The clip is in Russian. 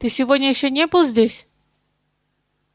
ты сегодня ещё не был здесь